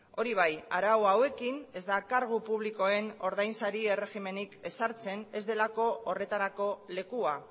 hori bai arau hauekin ez da kargu publikoen ordainsari erregimenik ezartzen ez delako horretarako lekua